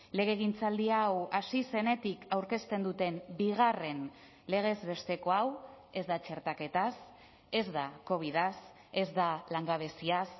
legegintzaldi hau hasi zenetik aurkezten duten bigarren legez besteko hau ez da txertaketaz ez da covidaz ez da langabeziaz